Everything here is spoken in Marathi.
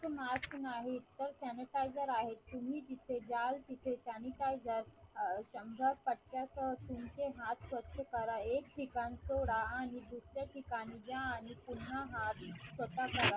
तर मास्क नाही sanitizer आहे. तुम्ही जिथे जाल तिथे sanitizer तुमचे हात स्वच्छ करा एक ढिकान सोडे आणि दुसर्या ढिकानी जा आणि पुन्हा हात